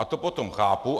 A to potom chápu.